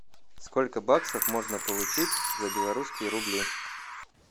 сколько баксов можно получить за белорусские рубли